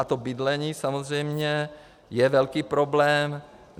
A to bydlení samozřejmě je velký problém.